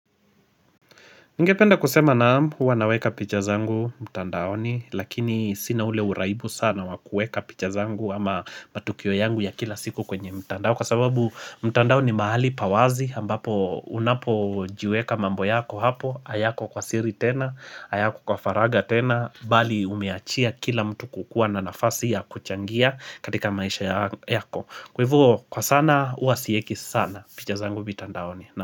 Nigependa kusema naam, huwa naweka picha zangu mtandaoni, lakini sina ule uraibu sana wakueka picha zangu ama matukio yangu ya kila siku kwenye mtandao. Kwa sababu mtandao ni mahali pawazi ambapo unapo jiweka mambo yako hapo, hayako kwa siri tena, ahayako kwa faragha tena, bali umeachia kila mtu kukuwa na nafasi ya kuchangia katika maisha yako. Kwa hivo kwa sana, huwa sieki sana picha zangu mtandaoni. Na.